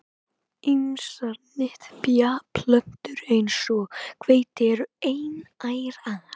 Ýmsar nytjaplöntur eins og hveiti eru einærar.